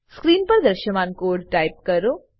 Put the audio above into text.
screen પર દ્રશ્યમાન code type કરો